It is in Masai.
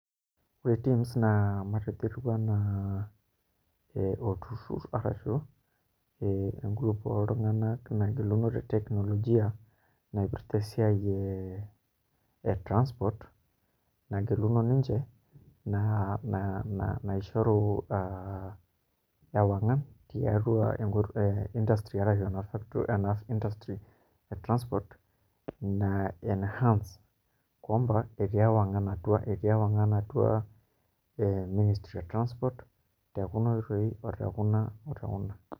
Ore TIMS naa matejo etiu enaa olturrur arashu engroup oltung'anak nagilunore teknologia naipirta esiai ee transport nageluno ninche naa naishoru ewang'an tiatua industry arashu ena industry e transport ina enhance kwamba etii ewang'an atua ministry e transport tenekuna oitoi o tekuna o tekuna.